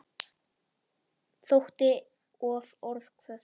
Þótti of orðhvöt.